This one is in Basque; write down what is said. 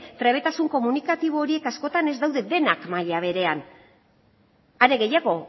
trebetasun komunikatibo horiek askotan ez daude denak maila berean are gehiago